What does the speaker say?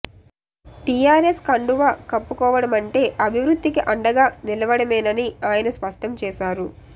TRS కం డువా కప్పుకోవడమంటే అభివృద్ధికి అండగా నిలువడమేనని ఆయన స్పష్టం చేశారు